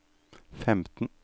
femten